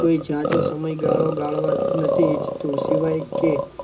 કોઈ જાજો સમય ગાળો ગાળવા નથી ઇચ્છતું સિવાય કે